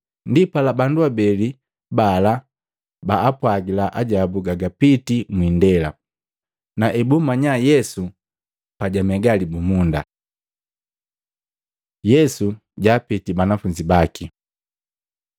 Ndipala bandu abeli bala baapwagila ajabu gagapiti mwindela, na ebummanya Yesu pajamega libumunda. Yesu jaapiti banafunzi baki Matei 28:16-20; Maluko 16:14-18; Yohana 20:19-23; Mahengu 1:6-8